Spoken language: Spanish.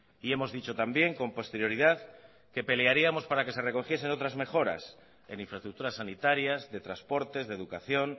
y hemos dicho también con posterioridad que pelearíamos para que se recogiesen otras mejoras en infraestructuras sanitarias de transportes de educación